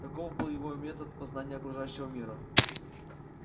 таков был его метод познания окружающего мира